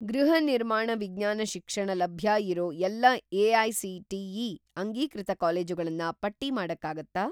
ಗೃಹನಿರ್ಮಾಣ ವಿಜ್ಞಾನ ಶಿಕ್ಷಣ ಲಭ್ಯ ಇರೋ ಎಲ್ಲಾ ಎ.ಐ.ಸಿ.ಟಿ.ಇ. ಅಂಗೀಕೃತ ಕಾಲೇಜುಗಳನ್ನ ಪಟ್ಟಿ ಮಾಡಕ್ಕಾಗತ್ತಾ?